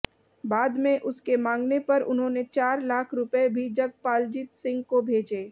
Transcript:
बाद में उसके मांगने पर उन्होंने चार लाख रुपए भी जगपालजीत सिंह को भेजे